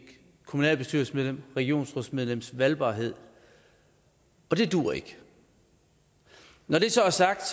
kommunalbestyrelsesmedlems regionsrådsmedlems valgbarhed og det duer ikke når det så er sagt